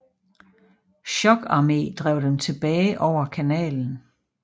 Chokarmé drev dem tilbage over kanalen